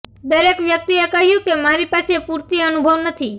દરેક વ્યક્તિએ કહ્યું કે મારી પાસે પૂરતી અનુભવ નથી